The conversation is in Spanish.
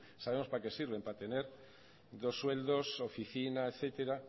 sabemos para qué sirven para tener dos sueldos oficina etcétera